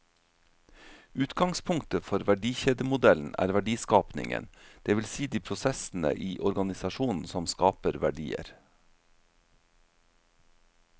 Utgangspunktet for verdikjedemodellen er verdiskapingen, det vil si de prosessene i organisasjonen som skaper verdier.